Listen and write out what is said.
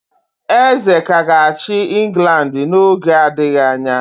Eze ka ga-achị England n'oge adịghị anya.